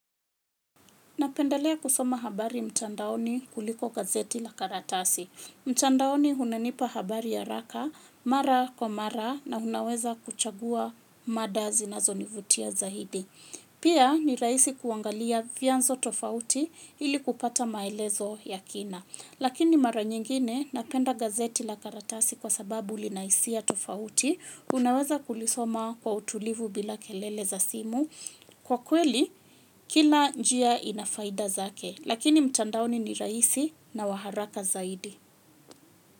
Napendalea kusoma habari mtandaoni kuliko gazeti la karatasi. Mtandaoni unanipa habari ya haraka, mara kwa mara na unaweza kuchagua mada zinazonivutia zaidi. Pia ni rahisi kuangalia vianzo tofauti ili kupata maelezo ya kina. Lakini mara nyingine napenda gazeti la karatasi kwa sababu linahisia tofauti. Unaweza kulisoma kwa utulivu bila kelele za simu. Kwa kweli, kila njia inafaida zake, lakini mtandaoni ni rahisi na waharaka zaidi.